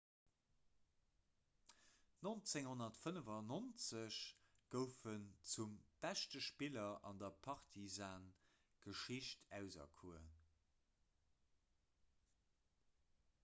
1995 gouf en zum beschte spiller an der partizan-geschicht auserkuer